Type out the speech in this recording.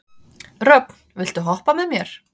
Röfn, viltu hoppa með mér?